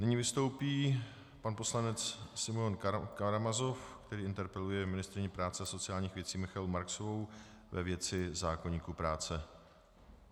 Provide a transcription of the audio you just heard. Nyní vystoupí pan poslanec Simeon Karamazov, který interpeluje ministryni práce a sociálních věcí Michaelu Marksovou ve věci zákoníku práce.